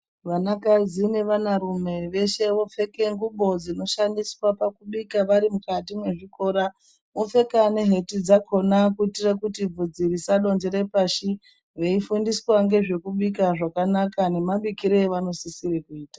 Vanakadzi nevanarume veshe vopfeke ngubo dzinoshandiswa pakubika vari mukati mwezvikora. Vopfeka neheti dzakona kuitire kuti vhudzi risadonjere pashi veifundiswa ngezvekubika zvakanaka nemabikire avanosisira kuita.